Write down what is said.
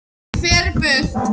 Ég fer burt.